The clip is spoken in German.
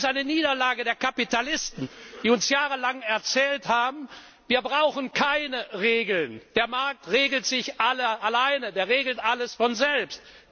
noch. Aber es ist eine Niederlage der Kapitalisten, die uns jahrelang erzählt haben, wir brauchen keine Regeln, der Markt regelt sich alleine, er regelt alles von